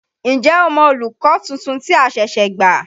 N jẹ́ o mọ olùkọ́ tuntun tí a ṣẹ̀ṣẹ̀ gbà?